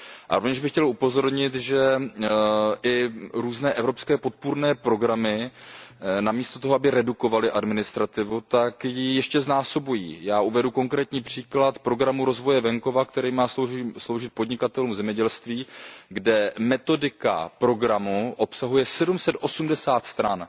A rovněž bych chtěl upozornit, že i různé evropské podpůrné programy namísto toho, aby redukovaly administrativu, tak ji ještě znásobují. Já uvedu konkrétní příklad Programu rozvoje venkova, který má sloužit podnikatelům v zemědělství, kde metodika programu obsahuje 780 stran.